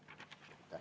Aitäh!